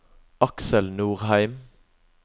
Aksel Norheim